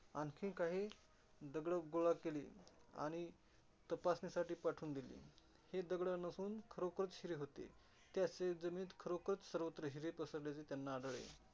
आणखी काही दगड गोळा केले. आणि तपासणीसाठी पाठवून दिले. ते दगड नसून खरोखरच हिरे होते. त्या शेतजमिनीत खरोखरचं सर्वत्र हिरे पसरलेले त्यांना आढळले.